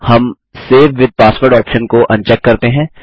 हम save with password option को uncheck करते हैं